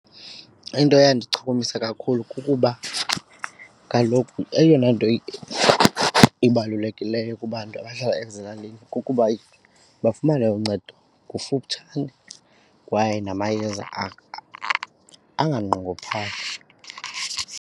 Into eyandichukumisa kakhulu kukuba kaloku eyona nto ibalulekileyo kubantu abahlala ezilalini kukuba bafumane uncedo kufutshane kwaye namayeza anganqongophali.